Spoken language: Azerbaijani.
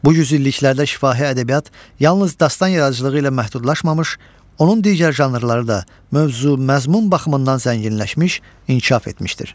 Bu yüzilliklərdə şifahi ədəbiyyat yalnız dastan yaradıcılığı ilə məhdudlaşmamış, onun digər janrları da mövzu, məzmun baxımından zənginləşmiş, inkişaf etmişdir.